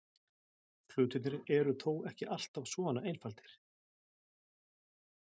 Hlutirnir eru þó ekki alltaf svona einfaldir.